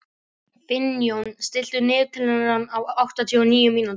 Finnjón, stilltu niðurteljara á áttatíu og níu mínútur.